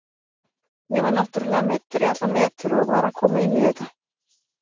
Ég var náttúrulega meiddur í allan vetur og var að koma inn í þetta.